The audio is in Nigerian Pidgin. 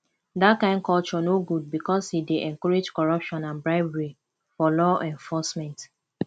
dat kain culture no good because e dey encourage corruption and bribery for law enforcement